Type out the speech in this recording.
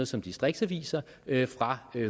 som distriktsaviser fra